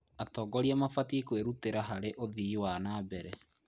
Atongoria mabatiĩ kwĩrutĩra harĩ ũthii wa na mbere.